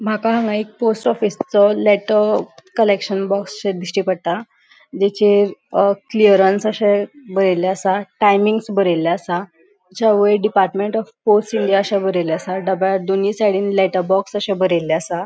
माका हान्गा एक पोस्ट ऑफिसचो लेटर कलेक्शन बॉक्स शे दिष्टी पडटा जेचेर क्क्लियरेन्स अशे बरयले आसा टायमिन्ग्स बरयले आसा त्याच्या वैर डिपार्ट्मन्ट ऑफ पोस्ट इंडिया अशे बरयले आसा डब्या दोनी सायडीन लेटर बॉक्स अशे बरले आसा.